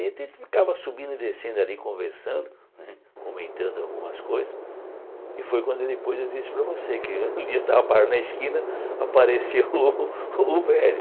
A gente ficava subindo e descendo ali conversando né, comentando algumas coisas, e foi quando depois eu disse para você que um dia estava na esquina, apareceu o o o velho.